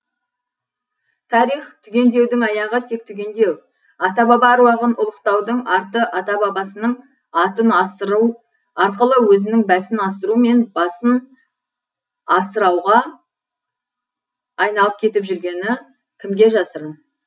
тарих түгендеудің аяғы тек түгендеу ата баба әруағын ұлықтаудың арты ата бабасының атын асыру арқылы өзінің бәсін асыру мен басын асырауға айналып кетіп жүргені кімге жасырын